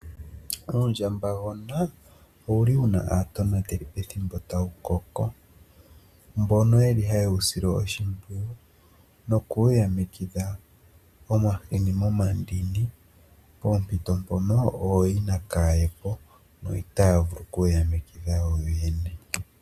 Uundjambagona owuli wu na aatonateli pethimbo taukoko, no yeli ha ye u sile oshimpyiyu nokuwu yamekitha omahini momandini poompito mpono ooyina kaa ye po no itaa vulu okuyamitha yo ye ne.